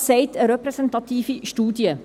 Das sagt eine repräsentative Studie.